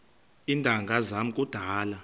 iintanga zam kudala